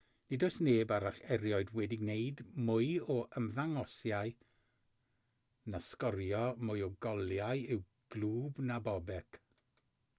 nid oes neb arall erioed wedi gwneud mwy o ymddangosiadau na sgorio mwy o goliau i'w glwb na bobek